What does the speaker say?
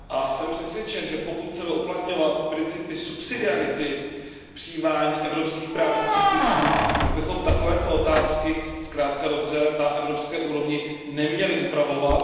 Jsem přesvědčen, že pokud chceme uplatňovat princip subsidiarity v přijímání evropských právních předpisů, pak bychom takovéto otázky zkrátka a dobře na evropské úrovni neměli upravovat.